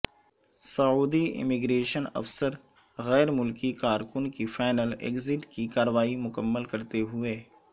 سعودی immigration افسر غیر ملکی کارکن کی فائنل ایگزٹ کی کارروائی مکمل کرتے ہوئے